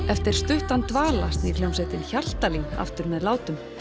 eftir stuttan dvala snýr hljómsveitin Hjaltalín aftur með látum